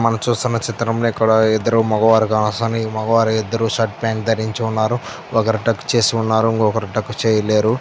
మనం చూస్తున చిత్రంలో ఇక్కడ ఇద్దరు మొగవారూ అసలు ఇద్దరు మొగవారు షర్ట్ ప్యాంటు ధరించుకున్నారు ఒకరు టాక్ చేసి ఉన్నారు ఇంకొకరు టాక్ చేయలేరు --